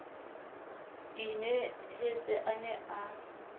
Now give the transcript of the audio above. ke inehetse a ne a